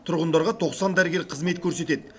тұрғындарға тоқсан дәрігер қызмет көрсетеді